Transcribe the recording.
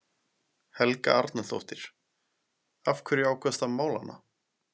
Helga Arnardóttir: Af hverju ákvaðstu að mála hana?